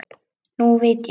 Nú veit ég.